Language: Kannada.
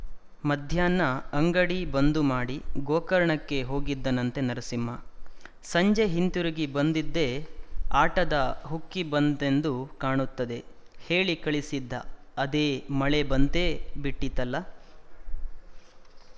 ಮಧ್ಯಾಹ್ನ ಅಂಗಡಿ ಬಂದುಮಾಡಿ ಗೋಕರ್ಣಕ್ಕೆ ಹೋಗಿದ್ದನಂತೆ ನರಸಿಂಹ ಸಂಜೆ ಹಿಂತಿರುಗಿ ಬಂದದ್ದೇ ಆಟದ ಹುಕ್ಕಿ ಬಂತೆಂದು ಕಾಣುತ್ತದೆ ಹೇಳಿ ಕಳಿಸಿದ್ದ ಅದೆ ಮಳೆ ಬಂತೆ ಬಿಟ್ಟಿತಲ್ಲ